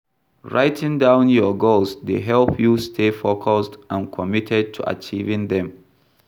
Writing down your goals dey help you stay focused and committed to achieving dem.